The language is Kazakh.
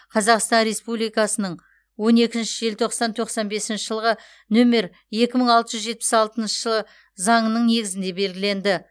қазақстан республикасының он екінші желтоқсан тоқсан бесінші жылғы нөмер екі мың алты жүз жетпіс алтыншы заңының негізінде белгіленді